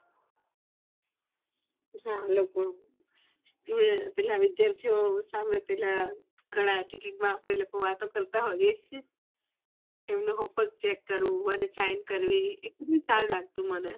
હા પેલા વિદ્યાર્થીઓ પેલા આપણે વાતો કરતા હોઈએ એમનું homework chek કરવું and sign કરવી મને ખુબ જ સારું લાગતું મને